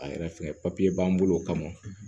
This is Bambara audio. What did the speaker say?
A yɛrɛ fɛ b'an bolo o kama